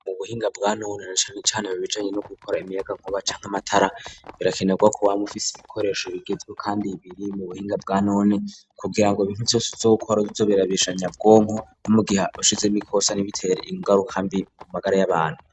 Mu buhinga bwanone na cane cane mu bijanye no gukora imiyagankuba canke amatara birakenerwa ko wama ufise ibikoresho bigezweho kandi biri mu buhinga bwanone kugira ngo ibintu vyose uzokora bize biruhishanya ubwonko no mu gihe ushizemwo ikosa ntibitere ingaruka mbi ku magara y'abantu.